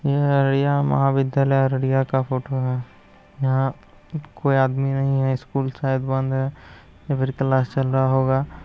यह अररिया महाविद्यालय अररिया का फोटो है। यहां कोई आदमी नहीं है। स्कूल शायद बंद है। अभी अंदर क्लास चल रहा होगा।